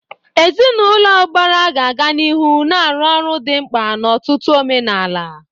Ezinụlọ ụbara ga-aga n'ihu na-arụ ọrụ dị mkpa n'ọtụtụ omenala.